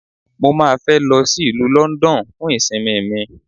Mo má a fẹ́ lọ sí ìlú London fún ìsinmi mi.